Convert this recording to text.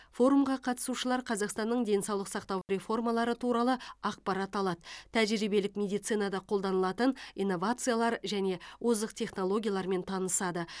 форумға қатысушылар қазақстанның денсаулық сақтау реформалары туралы ақпарат алады тәжірибелік медицинада қолданылатын инновациялар және озық технологиялармен танысады